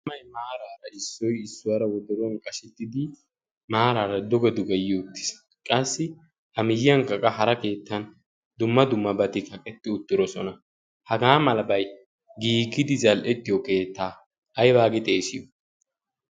maaraara issoy issuwaara wodaruwan qashettidi maaraara doge dugeyyo uttiis qassi ha miyyiyankkaqa hara keettan dumma dumma bati kaqqetti uttirosona hagaa malabay giigidi zal''ettiyo keettaa aybaagi xeesiyo